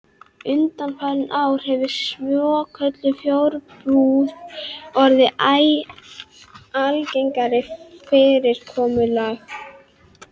Undanfarin ár hefur svokölluð fjarbúð orðið æ algengara fyrirkomulag.